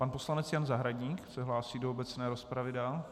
Pan poslanec Jan Zahradník se hlásí do obecné rozpravy dál.